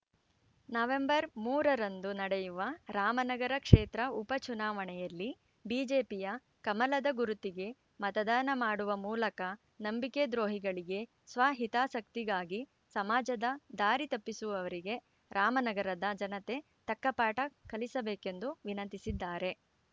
November ಮೂರರಂದು ನಡೆಯುವ ರಾಮನಗರ ಕ್ಷೇತ್ರ ಉಪ ಚುನಾವಣೆಯಲ್ಲಿ ಬಿಜೆಪಿಯ ಕಮಲದ ಗುರುತಿಗೆ ಮತದಾನ ಮಾಡುವ ಮೂಲಕ ನಂಬಿಕೆ ದ್ರೋಹಿಗಳಿಗೆ ಸ್ವಹಿತಾಸಕ್ತಿಗಾಗಿ ಸಮಾಜದ ದಾರಿ ತಪ್ಪಿಸುವವರಿಗೆ ರಾಮನಗರದ ಜನತೆ ತಕ್ಕಪಾಠ ಕಲಿಸಬೇಕೆಂದು ವಿನಂತಿಸಿದ್ದಾರೆ